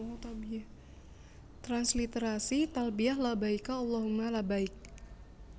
Transliterasi talbiyah Labbaika Allahomma Labbaik